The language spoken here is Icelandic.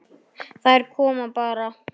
Þær koma bara.